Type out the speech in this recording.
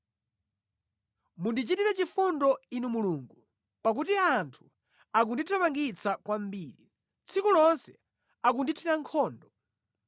Mundichitire chifundo Inu Mulungu, pakuti anthu akundithamangitsa kwambiri; tsiku lonse akundithira nkhondo.